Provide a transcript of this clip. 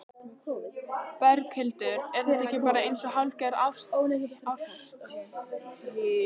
Berghildur: Er þetta ekki bara eins og hálfgerð árshátíð?